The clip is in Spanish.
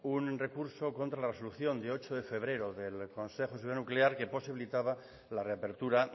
un recurso contra la resolución de ocho de febrero del consejo de seguridad nuclear que posibilitaba la reapertura